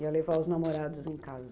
Ia levar os namorados em casa?